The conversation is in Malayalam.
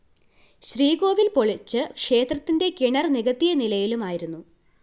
ശ്രീകോവില്‍ പൊളിച്ച് ക്ഷേത്രത്തിന്റെ കിണര്‍ നികത്തിയ നിലയിലുമായിരുന്നു